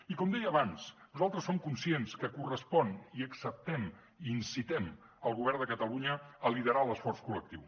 i com deia abans nosaltres som conscients que correspon i acceptem i incitem el govern de catalunya a liderar l’esforç col·lectiu